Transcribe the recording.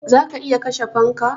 Za ka iya kashe fanka?